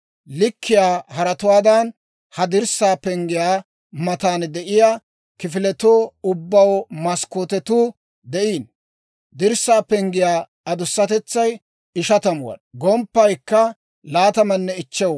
Likkiyaa haratuwaadan, ha dirssaa penggiyaa matan de'iyaa kifiletoo ubbaw maskkootetuu de'iino. Dirssaa penggiyaa adusatetsay 50 wad'aa; gomppaykka 25 wad'aa.